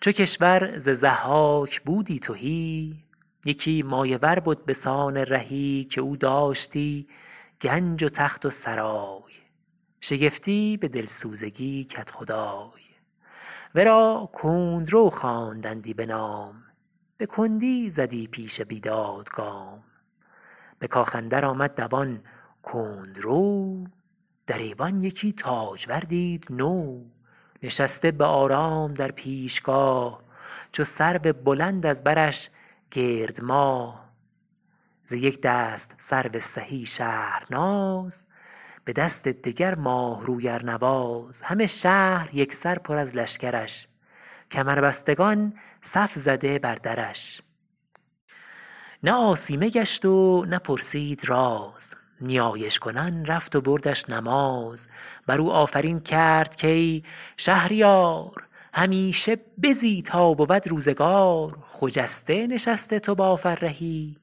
چو کشور ز ضحاک بودی تهی یکی مایه ور بد به سان رهی که او داشتی گنج و تخت و سرای شگفتی به دلسوزگی کدخدای ورا کندرو خواندندی بنام به کندی زدی پیش بیداد گام به کاخ اندر آمد دوان کندرو در ایوان یکی تاجور دید نو نشسته به آرام در پیشگاه چو سرو بلند از برش گرد ماه ز یک دست سرو سهی شهرناز به دست دگر ماه روی ارنواز همه شهر یک سر پر از لشکرش کمربستگان صف زده بر درش نه آسیمه گشت و نه پرسید راز نیایش کنان رفت و بردش نماز بر او آفرین کرد کای شهریار همیشه بزی تا بود روزگار خجسته نشست تو با فرهی